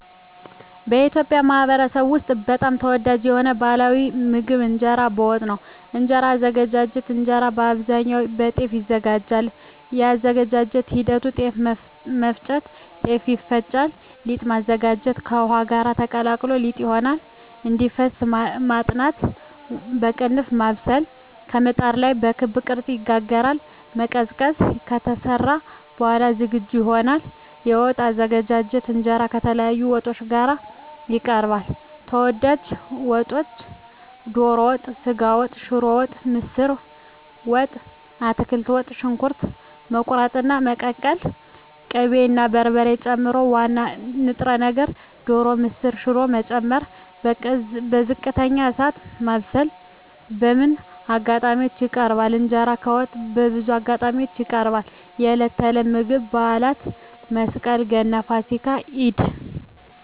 በኢትዮጵያ ማኅበረሰብ ውስጥ በጣም ተወዳጅ የሆነው ባሕላዊ ምግብ እንጀራ በወጥ ነው። የእንጀራ አዘገጃጀት እንጀራ በአብዛኛው ከጤፍ ይዘጋጃል። የአዘገጃጀት ሂደት ጤፍ መፍጨት – ጤፍ ይፈጫል ሊጥ ማዘጋጀት – ከውሃ ጋር ተቀላቅሎ ሊጥ ይሆናል እንዲፈስ መጥናት (ማብሰል) – በምጣድ ላይ በክብ ቅርጽ ይጋገራል መቀዝቀዝ – ከተሰራ በኋላ ዝግጁ ይሆናል የወጥ አዘገጃጀት እንጀራ ከተለያዩ ወጦች ጋር ይቀርባል። ተወዳጅ ወጦች ዶሮ ወጥ ስጋ ወጥ ሽሮ ወጥ ምስር ወጥ አትክልት ወጥ . ሽንኩርት መቁረጥና መቀቀል ቅቤ እና በርበሬ መጨመር ዋና ንጥረ ነገር (ዶሮ፣ ምስር፣ ሽሮ…) መጨመር በዝቅተኛ እሳት ማብሰል በምን አጋጣሚዎች ይቀርባል? እንጀራ ከወጥ በብዙ አጋጣሚዎች ይቀርባል፦ የዕለት ተዕለት ምግብ የበዓላት (መስቀል፣ ገና፣ ፋሲካ፣ ኢድ)